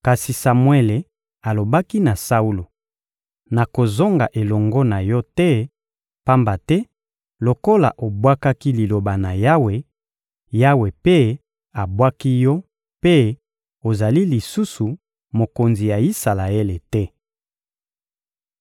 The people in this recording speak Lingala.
Kasi Samuele alobaki na Saulo: — Nakozonga elongo na yo te; pamba te lokola obwakaki Liloba na Yawe, Yawe mpe abwaki yo mpe ozali lisusu mokonzi ya Isalaele te.